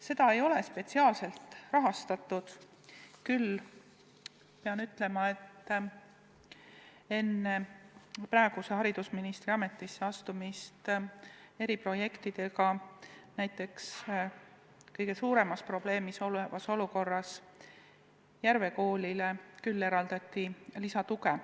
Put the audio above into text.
Seda ei ole spetsiaalselt rahastatud, küll pean ütlema, et enne praeguse haridusministri ametisse astumist eraldati eriprojektide raames kõige raskemas olukorras Järve Koolile lisaraha.